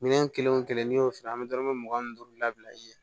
Minɛn kelen o kelen n'i y'o fiyɛ an bɛ dɔrɔmɛ mugan ni duuru la bila i ɲɛ